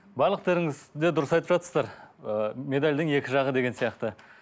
барлықтарыңыз сіздер дұрыс айтып жатсыздар ы медальдің екі жағы деген сияқты